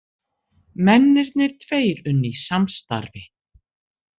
Mennirnir tveir unnu í samstarfi